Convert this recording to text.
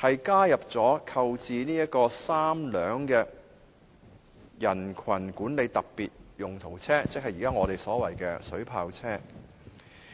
提出購置3輛"人群管理的特別用途車"，即我們現在所說的"水炮車"。